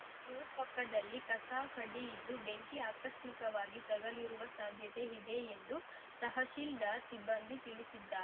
boat ಪಕ್ಕದಲ್ಲಿ ಕಸ ಕಡ್ಡಿ ಇದ್ದು ಬೆಂಕಿ ಆಕಸ್ಮಿಕವಾಗಿ ತಗುಲಿರುವ ಸಾಧ್ಯತೆ ಇದೆ ಎಂದು ತಹಶಿಲ್ದಾರ್‌ ಸಿಬ್ಬಂದಿ ತಿಳಿಸಿದ್ದಾರ್